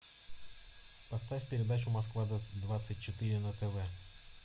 поставь передачу москва двадцать четыре на тв